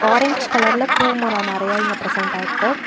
Orange கலர்ல பூ மரோ நெறையா இங்க ப்ரெசென்ட் ஆயிருக்கு.